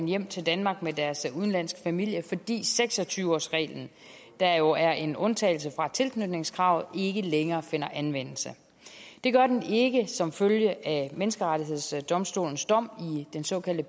hjem til danmark med deres udenlandske familie fordi seks og tyve årsreglen der jo er en undtagelse fra tilknytningskravet ikke længere finder anvendelse det gør den ikke som følge af menneskerettighedsdomstolens dom i den såkaldte